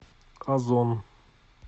озон